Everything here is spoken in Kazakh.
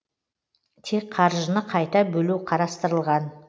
тек қаржыны қайта бөлу қарастырылған